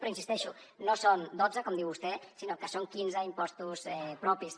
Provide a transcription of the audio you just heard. però hi insisteixo no són dotze com diu vostè sinó que són quinze impostos propis